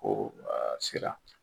Ko sera.